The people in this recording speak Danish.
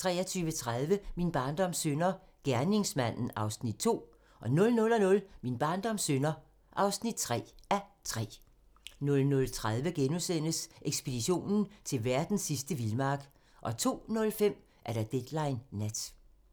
23:30: Min barndoms synder - gerningsmanden (2:3) 00:00: Min barndoms synder (3:3) 00:30: Ekspeditionen til verdens sidste vildmark * 02:05: Deadline Nat